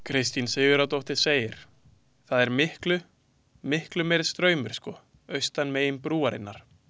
Kristín Sigurðardóttir segir: „Það er miklu, miklu meiri straumur sko austan megin brúarinnar“.